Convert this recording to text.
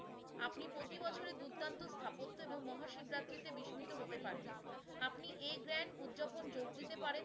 এবং মহা শিবরাত্রিতে বিস্মিত হতে পারেন। আপনি এই জ্ঞান উৎযাপন যোগ দিতে পারেন